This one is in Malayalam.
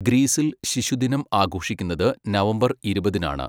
ഗ്രീസിൽ ശിശുദിനം ആഘോഷിക്കുന്നത് നവംബർ ഇരുപതിനാണ്.